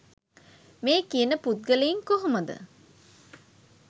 මේ කියන පුද්ගලයින් කොහොමද